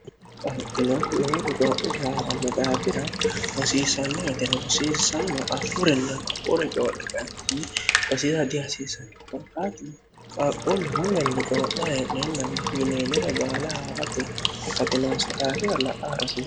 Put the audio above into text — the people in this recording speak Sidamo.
qahagino lowonni cooini haa'ranno daafira rosiisannoetene rosiisaano afurinna ka'uri coodhe qaattinni osisa dihasiisani korqaatin qaaqqoolli mulenni coo'na hee'neennalne yineenire baala haa'rate hakkatinoonsa daafira la'a arrasiir